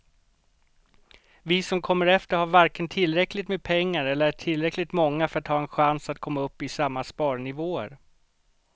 Vi som kommer efter har varken tillräckligt med pengar eller är tillräckligt många för att ha en chans att komma upp i samma sparnivåer.